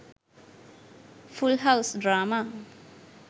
full house drama